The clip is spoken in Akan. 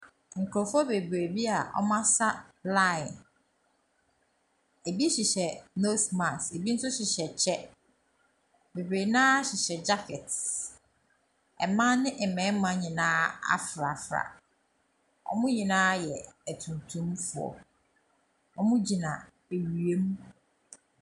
Nkurɔfoɔ bebree bi a wɔasa line, bi hyehyɛ nose mask, bi nso hyehyɛ kyɛ, bebree no ara hyehyɛ jacket. Mmaa ne mmarima nyinaa afrafra. Wɔn nyinaa yɛ atuntumfoɔ, wɔgyina awia mu.